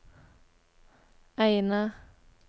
Eina